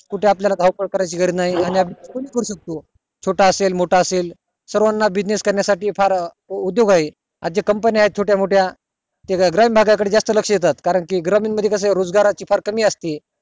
कुठे आपल्या धाव पळ करायची गरज नाही आणि आपण proof करू शकतो छोटा असेल मोठा असेल सर्वाना business करण्या साठी फार उदोग आहे आज ज्या company आहेत छोट्या मोठ्या त्या ग्रामीण भागा कडे जास्त लक्ष देतात कारण ग्रामीण मध्ये कास रोजगाराची खूप कमी असते